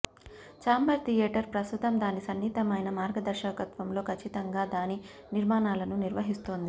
chamber theatre ప్రస్తుతం దాని సున్నితమైన మార్గదర్శకత్వంలో ఖచ్చితంగా దాని నిర్మాణాలను నిర్వహిస్తోంది